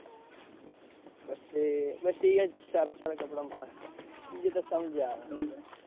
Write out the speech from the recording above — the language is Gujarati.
પછી બસ ઈયેજ઼ સારા સારા કપડાં મળે. બીજે તો સમજ્યા હવે.